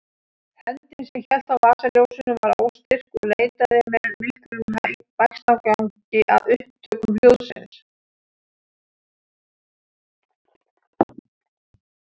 Höndin sem hélt á vasaljósinu var óstyrk og leitaði með miklum bægslagangi að upptökum hljóðsins.